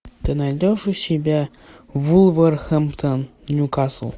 ты найдешь у себя вулверхэмптон ньюкасл